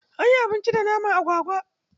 Anyi abinci da naman agwagwa.